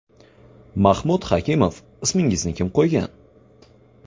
MAHMUD HAKIMOV Ismingizni kim qo‘ygan?